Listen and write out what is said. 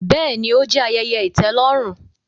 Bẹẹni, o jẹ ayẹyẹ itẹlọrun